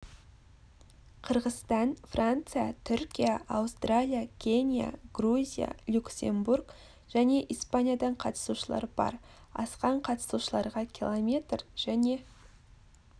қырғызстан франция түркия аустралия кения грузия люксембург және испаниядан қатысушылар бар асқан қатысушыларға км және